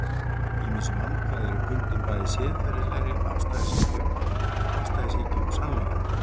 ýmis vandkvæði eru bundin bæði siðferðilegri afstæðishyggju og afstæðishyggju um sannleikann